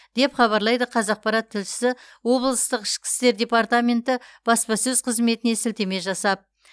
деп хабарлайды қазақпарат тілшісі облыстық ішкі істер департаменті баспасөз қызметіне сілтеме жасап